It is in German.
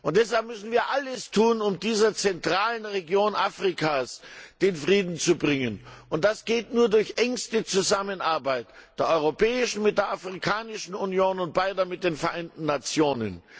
Und deshalb müssen wir alles tun, um dieser zentralen Region Afrikas Frieden zu bringen, und das geht nur durch engste Zusammenarbeit der Europäischen Union mit der Afrikanischen Union und mit den Vereinten Nationen.